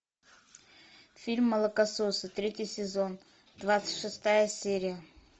фильм молокососы третий сезон двадцать шестая серия